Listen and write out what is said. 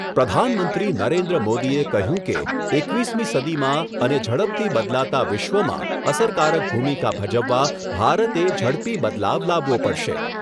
પ્રધાનમંત્રી નરેન્દ્ર મોદીએ કહ્યું કે એકવીસમી સદીમાં અને ઝડપથી બદલાતા વિશ્વમાં અસરકારક ભૂમિકા ભજવવા ભારતે ઝડપી બદલાવ લાવવો પડશે.